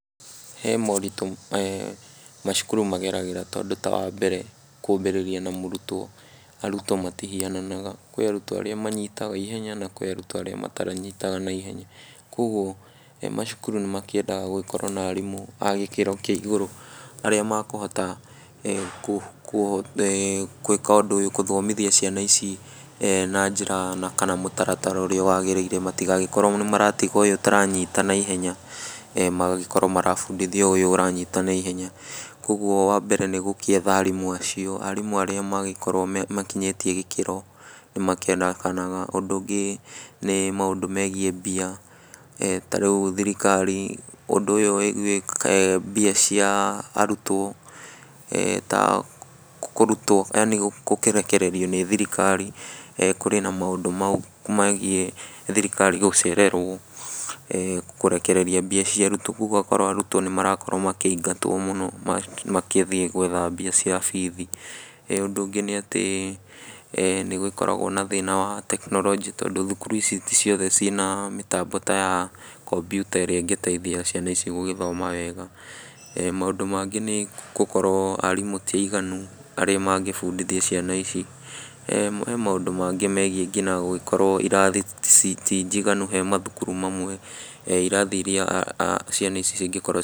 He moritũ macukuru mageragĩra tondũ ta wa mbere, kwambĩrĩria na mũrutwo , arutwo matihiananaga kwĩ arutwo arĩa manyitaga ihenya na kwĩ arutwo arĩa matanyitaga na ihenya , kũgwo macukuru nĩ makĩendaga gũkorwo na arimũ a gĩkĩro kĩa igũrũ , arĩa makũhota gwĩka ũndũ ũyũ , gũthomithia ciana ici na njĩra kana mũtaratara ũrĩa wagĩrĩire , matigagĩkorwo nĩ maratiga ũyũ ũtaranyita na ihenya magakorwo marabundithia ũyũ ũranyita na ihenya, kũgwo wa mbere nĩgũgĩetha arimũ acio, arimũ arĩa magĩkoragwo makinyĩtie gĩkĩro nĩ makĩendekanaga ,ũndũ ũngĩ nĩ maũndũ megiĩ mbia ,ta rĩu thirikari ũndũ ũyũ , mbia cia arutwo ,e ta kũrutwo yaani gũkĩrekererio nĩ thirikari , kũrĩ na maũndũ mau megiĩ thirikari gũcererwo e kũrekereria mbia cia arutwo , kũgwo ũgakora arutwo nĩ marakorwo makĩingatwo mũno na magĩthiĩ gwetha mbia cia bithi, ũndũ ũngĩ nĩ atĩ, nĩgũgĩkoragwo na thĩna wa tekinorojĩ, tondũ thukuru ici ti ciothe ciĩna mĩtambo ta ya kompyuta ĩrĩa ĩngĩteithia ciana ici gũgĩthoma wega, maũndũ mangĩ nĩgũkorwo arimũ ti aiganu arĩa mangĩbundithia ciana ici , he maũndũ mangĩ megiĩ gũgĩkorwo irathi ti njiganu he mathukuru mamwe, irathi iria ciana ici cingĩkorwo.